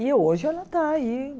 E hoje ela está aí